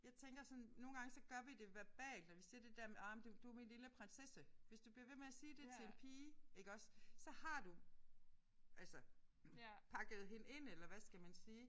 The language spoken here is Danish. Jeg tænker sådan nogle gange så gør vi det verbalt når vi siger det der med ah du er min lille prinsesse. Hvis du bliver ved med at sige det til en pige iggås så har du altså pakket hende ind eller hvad skal man sige